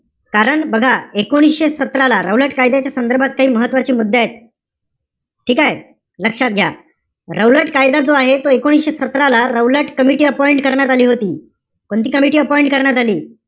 कारण बघा, एकोणीशे सतरा ला, रौलट कायद्याच्या संदर्भात महत्वाचे मुद्देय. ठीकेय? लक्षात घ्या. रौलट कायदा जो आहे तो एकोणीशे सतरा ला, रौलट कमिटी करण्यात आली होती. कोणती कमिटी करण्यात आली.